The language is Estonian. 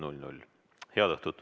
Head õhtut!